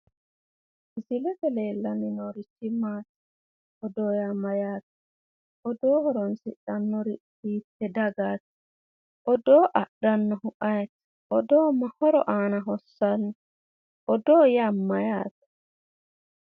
Misilete leellanni noorichi maati? Odoo yaa mayyaate? Odoo horoonsidhannori hiitte dagaati? Odoo adhannohu ayeeti? Odoo ma horo aana hossanno? Odoo yaa mayyaate?